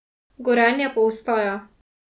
Gorenje pa ostaja.